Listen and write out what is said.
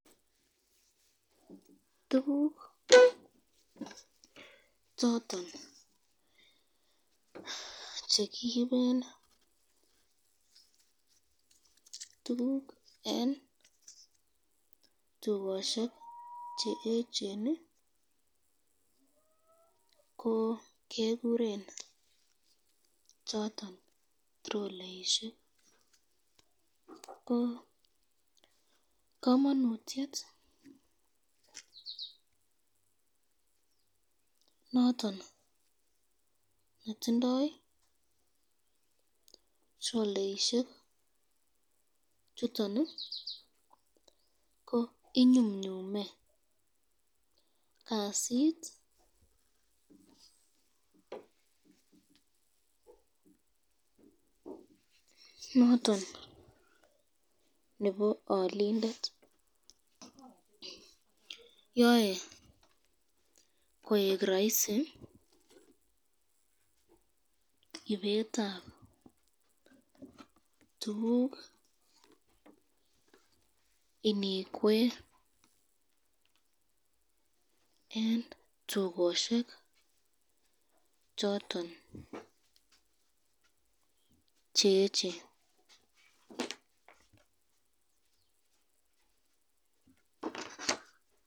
Tukuk choton chekiriben tukuk eng tukoshek cheechen ko keguren choton troleisyek, ko kamanutyet noton netindo troleisyek chuton ko inyumnyume kasit niton noton nebo alindet, yae koek raisi ibetab tukuk inikwe eng tukoshek choton cheechen.